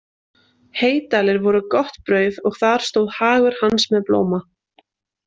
Heydalir voru gott brauð og þar stóð hagur hans með blóma.